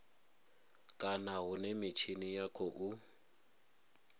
kana hune mitshini ya khou